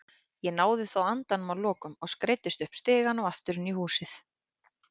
Ég náði þó andanum að lokum og skreiddist upp stigann og aftur inn í húsið.